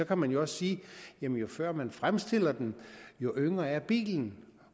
kan man jo også sige jo før man fremstiller den jo yngre er bilen